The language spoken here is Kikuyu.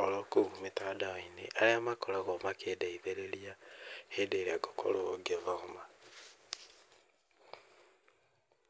orokũu mĩtandao-inĩ, arĩa makoragwo makĩndeithĩrĩria hĩndĩ ĩrĩa ngũkorwo ngĩthoma.